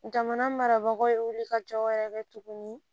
Jamana marabagaw ye wulikajɔwɛrɛ kɛ tuguni